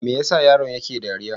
Me ya sa yaron yake dariya?